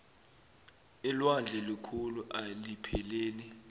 ilwandle likhulu eilipheleli